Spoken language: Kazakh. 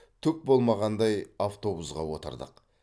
түк болмағандай автобусқа отырдық